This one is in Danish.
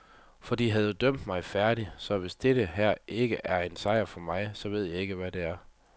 For de havde jo dømt mig færdig, så hvis dette her ikke er en sejr for mig, så ved jeg ikke hvad det er.